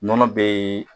Nɔnɔ bɛ